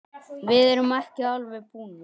Við erum ekki alveg búnir.